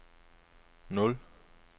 nul